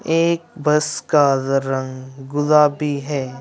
एक बस का रंग गुलाबी है।